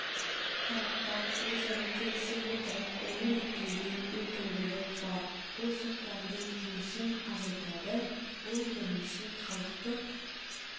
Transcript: тараптар өзара келісе отырып оны реттеуге мүмкіндігі бар бұл соттардың жұмысын азайтады бұл бірінші халықтың